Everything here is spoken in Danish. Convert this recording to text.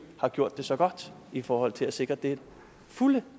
har gjort det så godt i forhold til at sikre det fulde